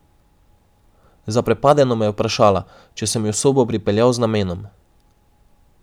Zaprepadeno me je vprašala, če sem jo v sobo pripeljal z namenom.